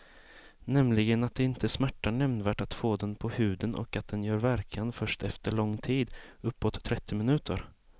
Nämligen att det inte smärtar nämnvärt att få den på huden och att den gör verkan först efter lång tid, uppåt trettio minuter.